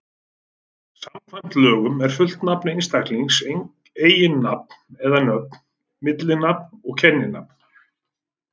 Samkvæmt lögunum er fullt nafn einstaklings eiginnafn eða-nöfn, millinafn og kenninafn.